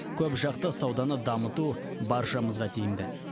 көпжақты сауданы дамыту баршамызға тиімді